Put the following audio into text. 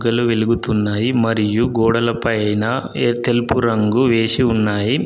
వెలుగుతున్నాయి మరియు గోడల పైన ఏ తెలుపు రంగు వేసి ఉన్నాయి.